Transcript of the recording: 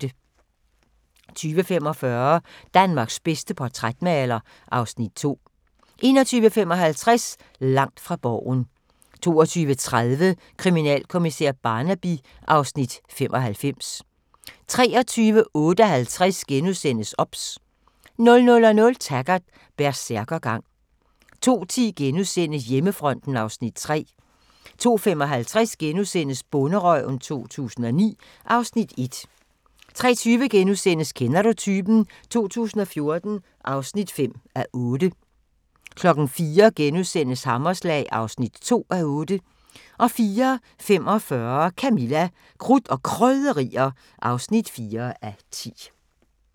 20:45: Danmarks bedste portrætmaler (Afs. 2) 21:55: Langt fra Borgen 22:30: Kriminalkommissær Barnaby (Afs. 95) 23:58: OBS * 00:00: Taggart: Bersærkergang 02:10: Hjemmefronten (Afs. 3)* 02:55: Bonderøven 2009 (Afs. 1)* 03:20: Kender du typen? 2014 (5:8)* 04:00: Hammerslag (2:8)* 04:45: Camilla – Krudt og Krydderier (4:10)